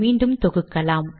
மீண்டும் தொகுக்கலாம்